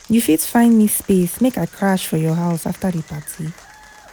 You fit find me space make I crash for your house afta di party?